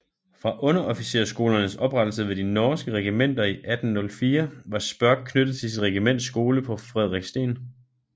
Fra underofficersskolernes oprettelse ved de norske regimenter 1804 var Spørck knyttet til sit regiments skole på Frederikssten